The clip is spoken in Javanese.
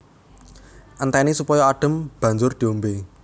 Entèni supaya adhem banjur diombé